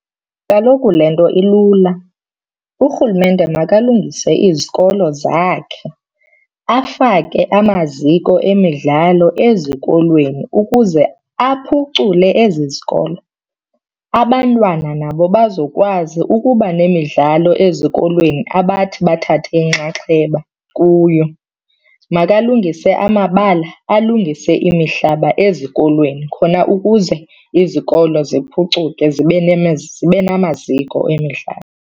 Kaloku le nto ilula, urhulumente makalungise izikolo zakhe afake amaziko emidlalo ezikolweni ukuze aphucule ezi zikolo. Abantwana nabo bazokwazi ukuba nemidlalo ezikolweni abathi bathathe inxaxheba kuyo. Makalungise amabala, alungise imihlaba ezikolweni khona ukuze izikolo ziphucuke zibe zibe namaziko emidlalo.